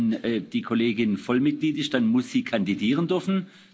Wenn die Kollegin Vollmitglied ist, dann muss sie kandidieren dürfen.